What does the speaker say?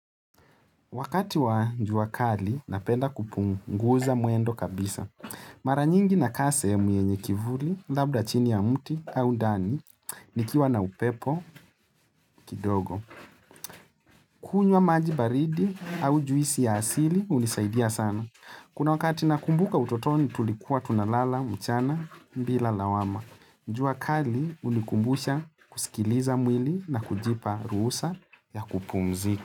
Wakati wa jua kali, napenda kupunguza mwendo kabisa. Mara nyingi nakaa sehemu yenye kivuli, labda chini ya mti au ndani, nikiwa na upepo kidogo. Kunywa maji baridi au juisi ya asili, hunisaidia sana. Kuna wakati nakumbuka utotoni tulikuwa tunalala, mchana, bila lawama. Jua kali, hunikumbusha kusikiliza mwili na kujipa ruhusa ya kupumzika.